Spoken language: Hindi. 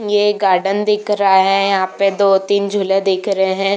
ये एक गार्डन दिख रहा है यहाँ पे दो तीन झूले दिख रहे हैं।